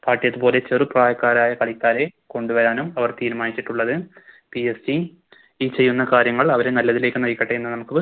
പോലെ ചെറുപ്രായക്കാരായ കളിക്കാരെ കൊണ്ടുവരാനും അവർ തീരുമാനിച്ചിട്ടുള്ളത് PSG ഈ ചെയ്യുന്ന കാര്യങ്ങൾ അവരെ നല്ലതിലേക്ക് നയിക്കട്ടെ എന്ന് നമുക്ക്